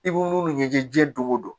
I b'u munnu ɲɛjijɛ dongo don